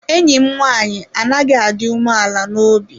Enyi m nwaanyị adighị adị umeala n’obi.